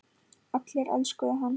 Allir elskuðu hann.